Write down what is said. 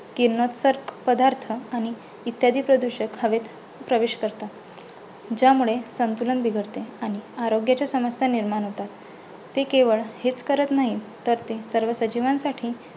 किरणोत्सारी पदार्थ आणि इत्यादी प्रदूषक हवेत प्रवेश करतात. ज्यामुळे संतुलन बिघडते आणि आरोग्याच्या समस्या निर्माण होतात. ते केवळ हेच करत नाहीत तर ते सर्व सजीवांसाठी